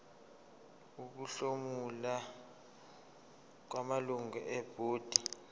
ukuhlomula kwamalungu ebhodi